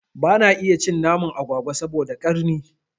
Bana iya cin naman agwagwa saboda ƙarni